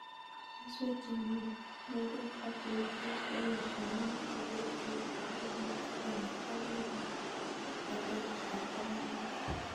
Keswek che mo meng'ech ak che pitos komutyo ko mache peek cheite eliput ag'eng'e akoi elipu ag'enge ak pokol aeng